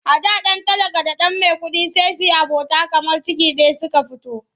A da ɗan talaka da ɗan maikuɗi sai yi abota kamar ciki ɗaya suka fito.